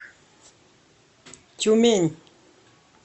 тюмень